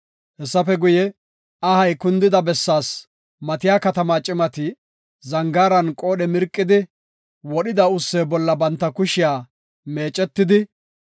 Hessafe guye, ahay kundida bessaas matiya katamaa cimati zangaaran qoodhe mirqidi wodhida ussee bolla banta kushiya meecetidi,